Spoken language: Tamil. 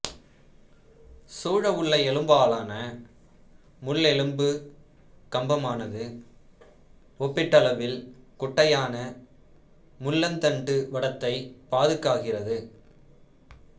சூழவுள்ள எலும்பாலான முள்ளெலும்புக் கம்பமானது ஒப்பீட்டளவில் குட்டையான முள்ளந்தண்டு வடத்தைப் பாதுகாக்கிறது